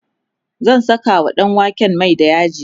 zan Saka wa ɗanwaken Mai da yaji